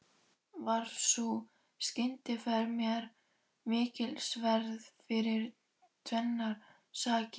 Varð sú skyndiferð mér mikilsverð fyrir tvennar sakir.